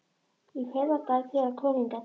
Í fyrradag, þegar hann kom hingað.